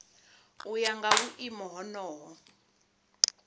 u ya nga vhuimo honoho